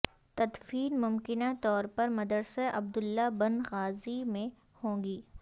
تدفین ممکنہ طور پر مدرسہ عبداللہ بن غازی میں ہوگی